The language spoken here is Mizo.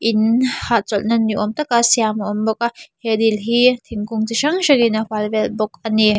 in hahchawlhna niawm taka siam a awm bawk a he dil hi thingkung chi hrang hrangin a hual vel bawk a ni.